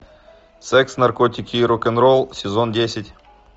секс наркотики и рок н ролл сезон десять